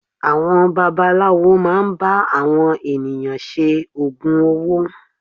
Àwọn babaláwo máà ń bá àwọn ènìyàn ṣe ògùn owó.